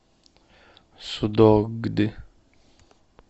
судогды